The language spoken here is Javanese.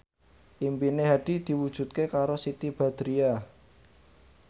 impine Hadi diwujudke karo Siti Badriah